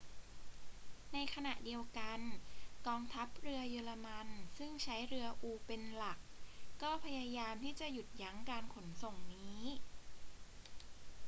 ในขณะเดียวกัน กองทัพเรือเยอรมันซึ่งใช้เรืออูเป็นหลัก ก็พยายามที่จะหยุดยั้งการขนส่งนี้